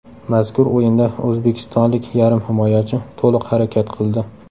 Mazkur o‘yinda o‘zbekistonlik yarim himoyachi to‘liq harakat qildi.